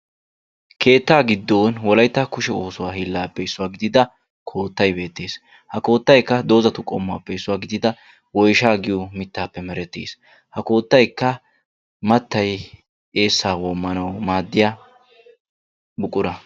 Keettaa giddon wolayitta kushe oosuwa hiillaappe issuwa gidida koottay beettees. Ha koottayikka dozatu qommuwappe issuwa gidida woyishaa giyo mittaappe merettes. Ha koottayikka mattay eessaa woommanawu maaddiya buqura.